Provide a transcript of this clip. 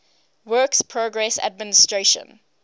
works progress administration